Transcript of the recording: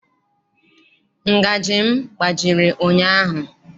Ngajị m gbajiri ụnyaahụ.